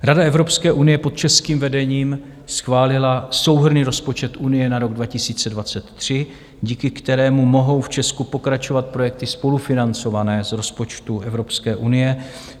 Rada Evropské unie pod českým vedením schválila souhrnný rozpočet Unie na rok 2023, díky kterému mohou v Česku pokračovat projekty spolufinancované z rozpočtu Evropské unie.